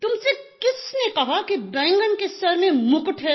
तुमसे किसने कहा कि बैंगन के सर में मुकुट है